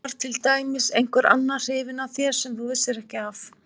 Var til dæmis einhver annar hrifinn af þér sem þú vissir af?